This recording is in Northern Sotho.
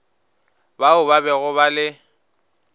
bao ba bego ba le